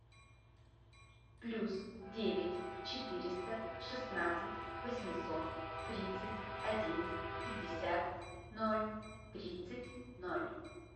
плюс девять четыреста шестнадцать восемьсот тридцать один пятьдесят ноль тридцать ноль